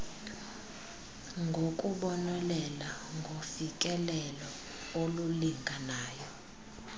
ngokubonelela ngofikelelo olulinganayo